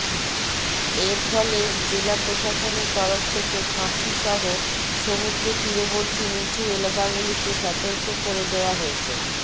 এর ফলে জেলা প্রশাসনের তরফ থেকে কাঁথিসহ সমূদ্র তীরবর্তী নীচু এলাকাগুলিকে সতর্ক করে দেওয়া হয়েছে